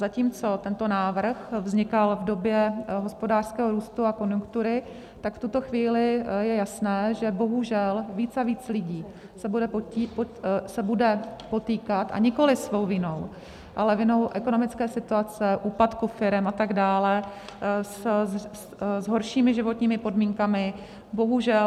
Zatímco tento návrh vznikal v době hospodářského růstu a konjunktury, v tuto chvíli je jasné, že bohužel víc a víc lidí se bude potýkat, a nikoli svou vinou, ale vinou ekonomické situace, úpadku firem atd., s horšími životními podmínkami, bohužel.